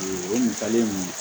O ɲininkali in